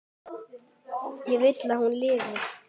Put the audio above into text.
Ég vil að hún lifi.